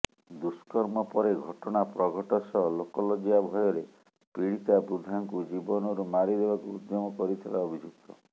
ଦୁଷ୍କର୍ମ ପରେ ଘଟଣା ପ୍ରଘଟ ସହ ଲୋକଲଜ୍ଜା ଭୟରେ ପୀଡିତା ବୃଦ୍ଧାଙ୍କୁ ଜୀବନରୁ ମାରିଦେବାକୁ ଉଦ୍ୟମ କରିଥିଲା ଅଭିଯୁକ୍ତ